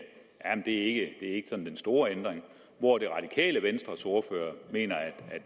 ikke er den store ændring hvor det radikale venstres ordfører mener at